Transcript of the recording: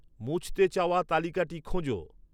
মুছতে চাওয়া তালিকাটি খোঁজো